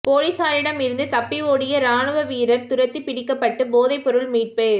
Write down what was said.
பொலிஸாரிடமிருந்து தப்பியோடிய இராணுவ வீரர் துரத்திப் பிடிக்கப்பட்டு போதைப் பொருள் மீட்பு